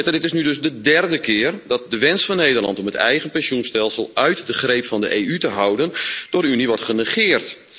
Dit is nu dus al de derde keer dat de wens van Nederland om het eigen pensioenstelsel uit de greep van de EU te houden door de Unie wordt genegeerd.